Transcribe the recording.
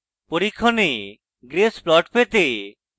পরীক্ষণে grace plots দেখতে